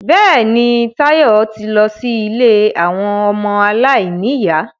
Bẹ́ẹ̀ni, Táyọ̀ ti lọ sí ilé àwọn ọmọ aláìníyà